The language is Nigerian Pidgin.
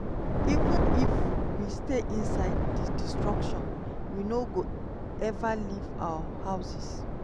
"even if we stay inside di destruction we no go ever leave our houses.